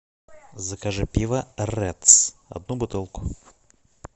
закажи пиво редс одну бутылку